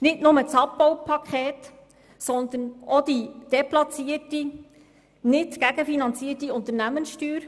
Das betrifft nicht nur das Abbaupaket, sondern auch die deplatzierte und nicht gegenfinanzierte Unternehmenssteuer.